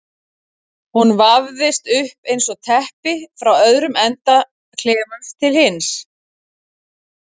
Hún vafðist upp eins og teppi frá öðrum enda klefans til hins.